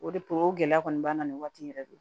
O de o gɛlɛya kɔni b'an na nin waati in yɛrɛ de